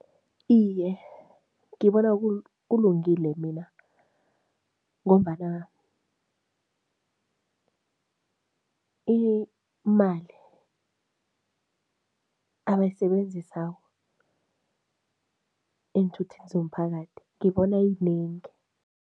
Iye, ngibona kulungile mina ngombana imali abayisebenzisa eenthuthini zomphakathi ngibona iyinengi.